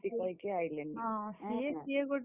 ଏମତି କହିକି ଆଇଲେନି ।